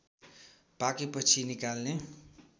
पाकेपछि निकाल्ने